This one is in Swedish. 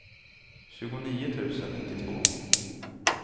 tjugonio tusen nittiotvå